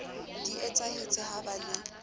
di etsahetse ha ba le